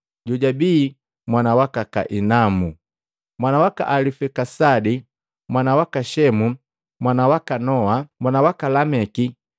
jojabi mwana waka Kainamu, mwana waka Alifikisadi, mwana waka Shemu, mwana waka Noa, mwana waka Lameki,